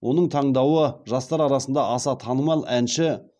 оның таңдауы жастар арасында аса танымал әнші